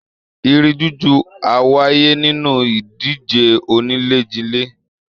Irin jújù á wáyé nínú ìdíje oníléjilé